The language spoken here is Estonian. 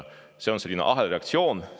See on ahelreaktsioon.